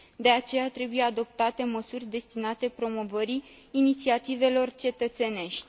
De aceea, trebuie adoptate măsuri destinate promovării inițiativelor cetățenești.